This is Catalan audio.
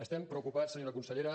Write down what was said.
estem preocupats senyora consellera